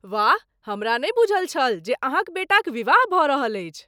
वाह! हमरा नहि बूझल छल जे अहाँक बेटाक विवाह भऽ रहल अछि।